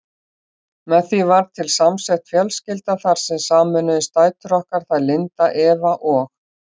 Með því varð til samsett fjölskylda þar sem sameinuðust dætur okkar, þær Linda, Eva og